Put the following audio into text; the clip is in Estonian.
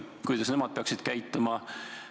Kuidas nad peaksid käituma?